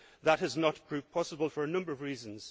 there. That has not proved possible for a number of reasons.